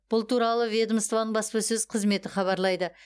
бұл туралы ведомствоның баспасөз қызметі хабарлайды